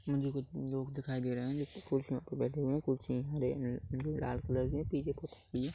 मुझे कुछ लोग दिखाए दे रहा है जो कुर्सियों पे बैठे हुए है कुर्सी है लाल कलर की पीछे कुछ नहीं है।